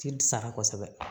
Cili sara kosɛbɛ